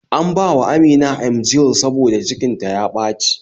An bawa amina Emgyl saboda cikin ta ya ɓaci